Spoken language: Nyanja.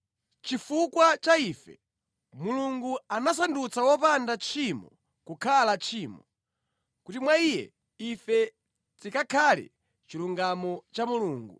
Chifukwa cha ife, Mulungu anasandutsa wopanda tchimoyo kukhala tchimo, kuti mwa Iye ife tikakhale chilungamo cha Mulungu.